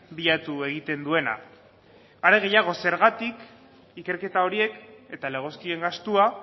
bilatu egiten duena are gehiago zergatik ikerketa horiek eta legozkien gastua